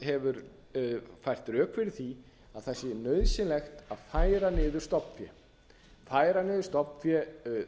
hefur fært rök fyrir því að það sé nauðsynlegt að færa niður stofnfé